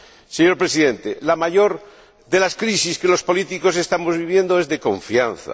Señor Presidente, la mayor de las crisis que los políticos estamos viviendo es de confianza.